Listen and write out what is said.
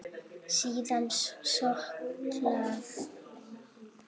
Síðan skolað.